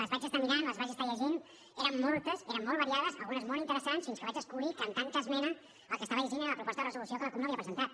les vaig estar mirant les vaig estar llegint eren moltes eren molt variades algunes molt interessants fins que vaig descobrir que amb tanta esmena el que estava llegint era la proposta de resolució que la cup no havia presentat